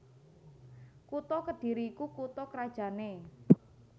Kutha Kedhiri iku kutha krajanné